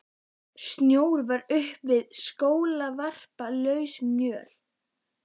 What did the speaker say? Snjór var upp fyrir skóvarp, lausamjöll.